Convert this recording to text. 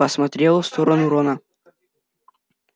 посмотрел в сторону рона